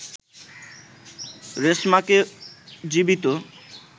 রেশমাকে জীবিত